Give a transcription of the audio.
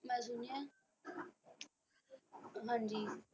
ਮੈਂ ਸੁਣਿਆ ਹਾਂਜੀ।